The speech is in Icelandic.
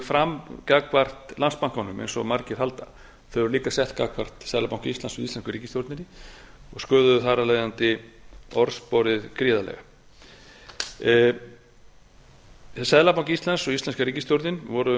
fram gagnvart landsbankanum eins og margir halda þau eru líka sett fram gagnvart seðlabanka íslands og íslensku ríkisstjórninni og sköðuðu þar af leiðandi orðsporið gríðarlega seðlabanki íslands og íslenska ríkisstjórnin voru